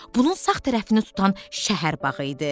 Bunun sağ tərəfini tutan şəhər bağı idi.